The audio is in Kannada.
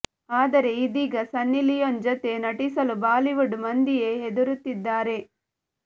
ಆದರೆ ಇದೀಗ ಸನ್ನಿ ಲಿಯೋನ್ ಜತೆ ನಟಿಸಲು ಬಾಲಿವುಡ್ ಮಂದಿಯೇ ಹೆದರುತ್ತಿದ್ದಾರೆ